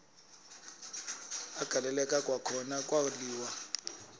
agaleleka kwakhona kwaliwa